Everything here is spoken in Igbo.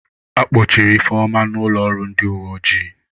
A kpọchiri Ifeoma n'ụlọọrụ ndị uwe ojii.